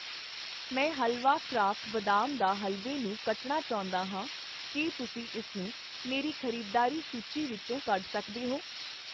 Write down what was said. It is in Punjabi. ਮੈਂ ਹਲਵਾ ਕਰਾਫਟ ਬਦਾਮ ਦਾ ਹਲਵੇ ਨੂੰ ਕੱਟਣਾ ਚਾਹੁੰਦਾ ਹਾਂ, ਕੀ ਤੁਸੀਂ ਇਸਨੂੰ ਮੇਰੀ ਖ਼ਰੀਦਦਾਰੀ ਸੂਚੀ ਵਿੱਚੋਂ ਕੱਢ ਸਕਦੇ ਹੋ?